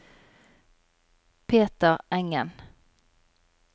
Peter Engen